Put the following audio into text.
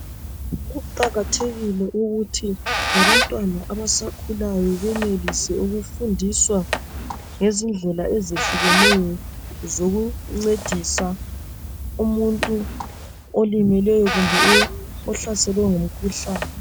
Kuqakathekile ukuthi labantwana abasakhulayo benelise ukufundiswa ngezindlela ezehlukeneyo zokuncedisa umuntu olimeleyo kumbe ohlaselwe ngumkhuhlane.